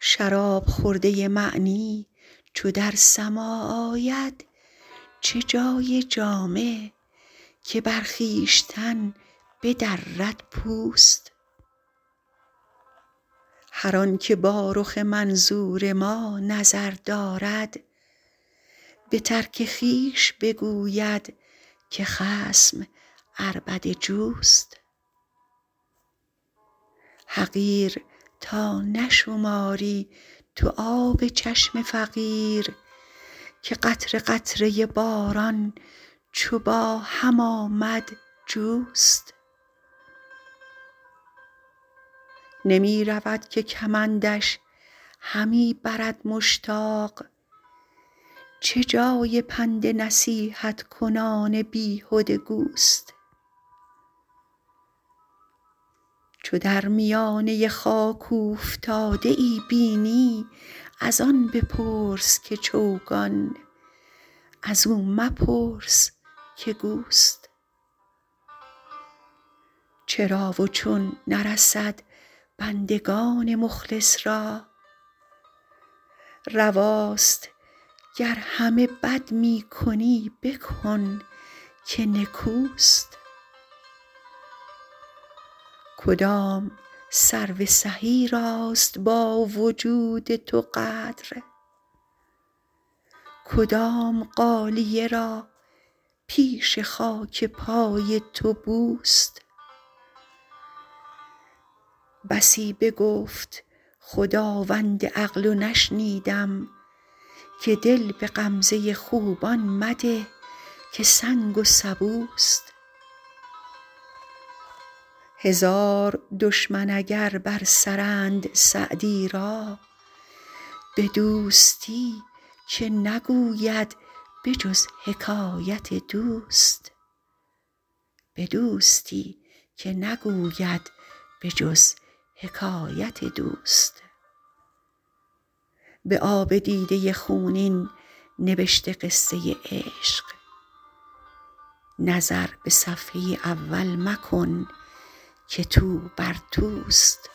شراب خورده معنی چو در سماع آید چه جای جامه که بر خویشتن بدرد پوست هر آن که با رخ منظور ما نظر دارد به ترک خویش بگوید که خصم عربده جوست حقیر تا نشماری تو آب چشم فقیر که قطره قطره باران چو با هم آمد جوست نمی رود که کمندش همی برد مشتاق چه جای پند نصیحت کنان بیهده گوست چو در میانه خاک اوفتاده ای بینی از آن بپرس که چوگان از او مپرس که گوست چرا و چون نرسد بندگان مخلص را رواست گر همه بد می کنی بکن که نکوست کدام سرو سهی راست با وجود تو قدر کدام غالیه را پیش خاک پای تو بوست بسی بگفت خداوند عقل و نشنیدم که دل به غمزه خوبان مده که سنگ و سبوست هزار دشمن اگر بر سرند سعدی را به دوستی که نگوید به جز حکایت دوست به آب دیده خونین نبشته قصه عشق نظر به صفحه اول مکن که توبر توست